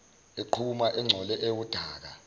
eqhuma engcole ewudaka